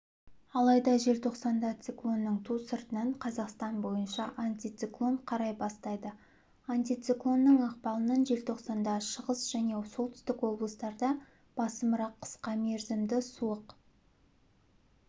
алайда желтоқсанда циклонның ту сыртынан қазақстан бойынша антициклон тарай бастайды антициклонның ықпалынан желтоқсанда шығыс және солтүстік облыстарда басымырақ қысқа мерзімді суық